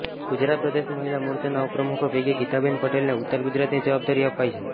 ગુજરાત પ્રદેશ મહિલા મોરચાના ઉપપ્રમુખો પૈકી ગીતાબેન પટેલને ઉત્તર ગુજરાતની જવાબદારી અપાઈ છે